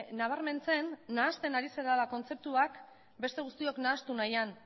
nabarmentzen nahasten ari zarela kontzeptuak beste guztiok nahastu nahian